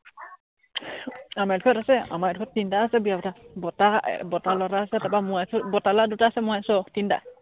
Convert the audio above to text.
আমাৰ এই ডখৰত আছে, আমাৰ এইডোখৰত তিনটা আছে বিয়া পতা। বৰতা, বৰতা লৰা এটা আছে, তাৰপৰা মই আছো, বৰতা লৰা দুটা আছে মই আছো আৰু তিনটা